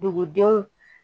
Dugudenw